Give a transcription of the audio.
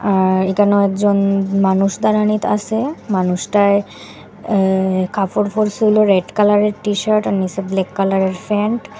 আর একানেও একজন মানুষ দাঁড়ানিত আসে মানুষটায় এ কাপড় পরসিল রেড কালারের টিশার্ট আর নিসে ব্ল্যাক কালারের প্যান্ট ।